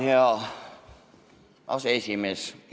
Hea aseesimees!